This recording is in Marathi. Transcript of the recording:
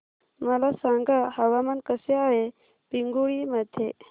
मला सांगा हवामान कसे आहे पिंगुळी मध्ये